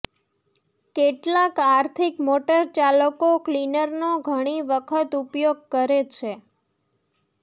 કેટલાંક આર્થિક મોટરચાલકો ક્લીનરનો ઘણી વખત ઉપયોગ કરે છે